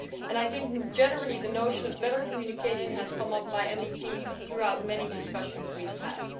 I think, generally, the notion of better communication has been raised by MEPs throughout many discussions we have had.